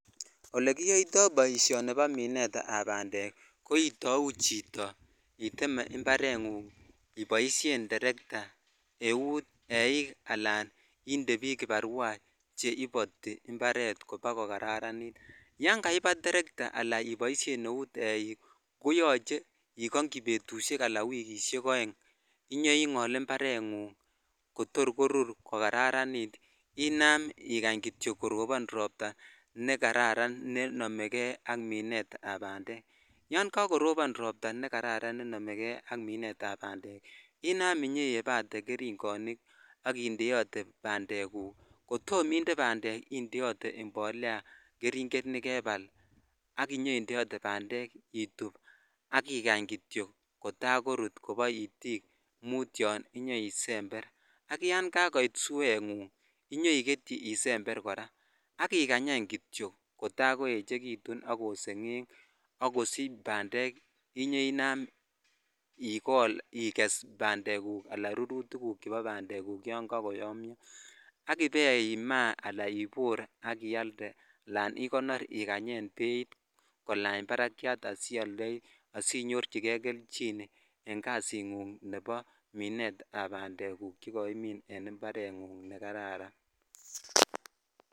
Olegiyoitoo boishoni bo mineet ab bandeek, koitouu chito iteme imbareet nguung iboishen terekta euut eeik alaan inde biik kiparwaa cheiboti imbareet bakogararaniit, yaan kaibaat terekta alaan iboishee leuut eiik koyoche igonyii betusheek alaan wikishek oeng inyaingool imbareengung kotor koruur kogararaniit inaam igany kityo korobon ropta negararan nenomegee ak mineet ab bandeek, yaan kagorobon rooopta negararan ak mineet ab bandeek iih, inaam nyaiebate keringonik ak inde bandeek guuk, kotom inde bandeek iih indeote mbolea keringeet negebaal ak indeote bandeek ituub ak igany kityo kotaar koruut kobo itiik muut yoon nyaisember, ak yaan kagoit sweet nguung nyoigetyi isember koraa ak igany any kityo kotaa koechegitun ak kosengeng ak kosich bandeek inyeinaam igess bandeek guuk anan rurutik guuk chebo bandeek guuk yoon kagoyomyoo ak ibee maah anan iboor iaalde anan igonoor iganyeen beeit kolaany barakwyaat asioldoii asinyorchigee kelchin en kasiit nguung nebo mineet ab bandeek guuk chegoimin en imbareet nguung negararan.